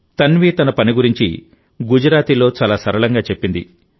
తన్వి తన పని గురించి గుజరాతీలో చాలా సరళంగా చెప్పింది